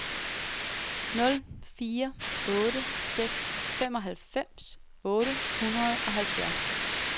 nul fire otte seks femoghalvfems otte hundrede og halvfjerds